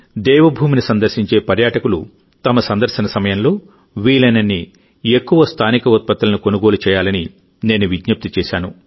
దేవభూమిని సందర్శించే పర్యాటకులు తమ సందర్శన సమయంలో వీలైనన్ని ఎక్కువ స్థానిక ఉత్పత్తులను కొనుగోలు చేయాలని నేను విజ్ఞప్తి చేశాను